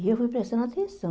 E eu fui prestando atenção.